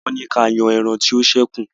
Wọ́n ni kí a yan ẹran tí ó ṣẹ́kùn